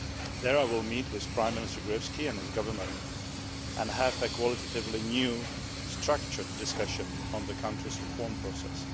There I will meet with Prime Minister Gruevski and his government and have a qualitatively new, structured discussion on the country's reform process.